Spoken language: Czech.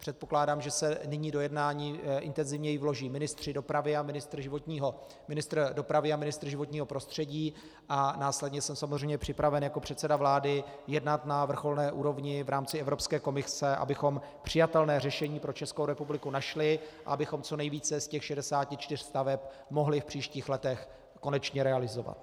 Předpokládám, že se nyní do jednání intenzivněji vloží ministr dopravy a ministr životního prostředí, a následně jsem samozřejmě připraven jako předseda vlády jednat na vrcholné úrovni v rámci Evropské komise, abychom přijatelné řešení pro Českou republiku našli a abychom co nejvíce z těch 64 staveb mohli v příštích letech konečně realizovat.